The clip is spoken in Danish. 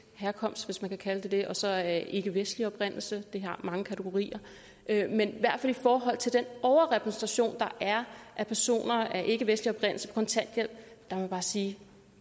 herkomst hvis man kan kalde det det og så mennesker af ikkevestlig oprindelse vi har mange kategorier men i forhold til den overrepræsentation der er af personer af ikkevestlig oprindelse på kontanthjælp må jeg bare sige